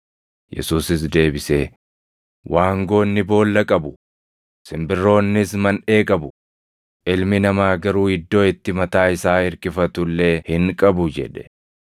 Yesuusis deebisee, “Waangoonni boolla qabu; simbirroonnis manʼee qabu; Ilmi Namaa garuu iddoo itti mataa isaa irkifatu illee hin qabu” jedhe.